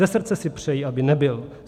Ze srdce si přeji, aby nebyl.